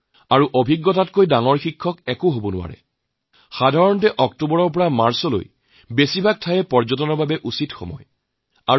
উপলব্ধিক বাদ দি ডাঙৰ শিক্ষক আন কি হব পাৰে সাধাৰণতে অক্টোবৰৰ পৰা পৰৱৰ্তী মাৰ্চলৈকে এই সময়চোৱা পৰ্যটনক বাবে উপযোগী